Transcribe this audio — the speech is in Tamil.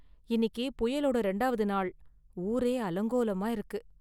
இன்னிக்கு புயலோட இரண்டாவது நாள், ஊரே அலங்கோலமாக இருக்கு.